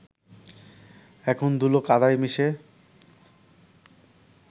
এখন ধুলো কাদায় মিশে